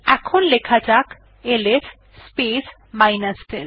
এখন লেখা যাক এলএস স্পেস l